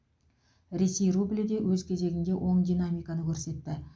ресей рублі де өз кезегінде оң динамиканы көрсетті